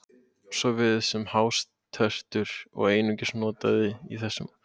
Svo virðist sem hástertur sé einungis notað í þessum orðasamböndum.